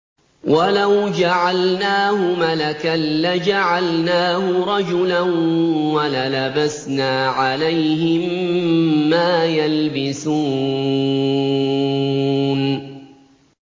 وَلَوْ جَعَلْنَاهُ مَلَكًا لَّجَعَلْنَاهُ رَجُلًا وَلَلَبَسْنَا عَلَيْهِم مَّا يَلْبِسُونَ